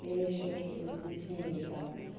или ещё что-то с детьми и там